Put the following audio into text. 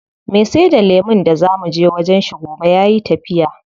Me saida lemun da zaa muje wajen shi gobe yayi tafiya.